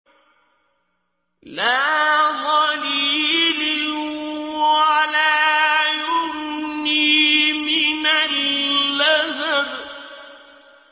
لَّا ظَلِيلٍ وَلَا يُغْنِي مِنَ اللَّهَبِ